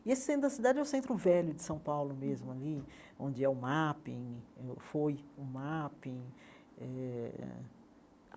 E esse centro da cidade é o centro velho de São Paulo mesmo ali, onde é o Mapim, eh foi o Mapim eh.